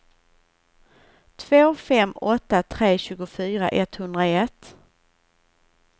två fem åtta tre tjugofyra etthundraett